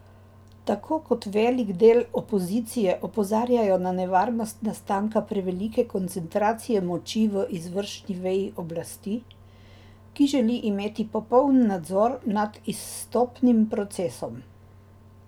Tako kot velik del opozicije opozarjajo na nevarnost nastanka prevelike koncentracije moči v izvršni veji oblasti, ki želi imeti popoln nadzor nad izstopnim procesom.